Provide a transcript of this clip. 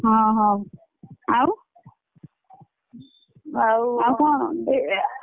ହଉ ହଉ ଆଉ ଆଉ କଣ?